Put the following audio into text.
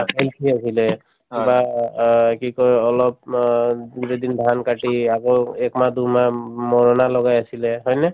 healthy আছিলে বা অ অ কি কই অলপমান দুদিন ধান কাটি আকৌ একমাহ দুইমাহ উম মৰণা লগাই আছিলে হয়নে